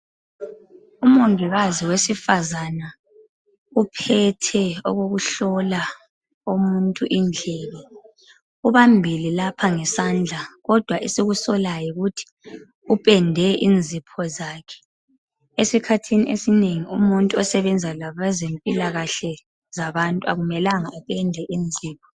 UMongikazi wesifazana uphethe okokuhlola umuntu indlebe ubambile lapha ngesandla, kodwa esikusolayo, yikuthi upende inzipho zakhe. Esikhathini esinengi umuntu osebenza labezempilakahle yabantu akumelanga apende inzipho.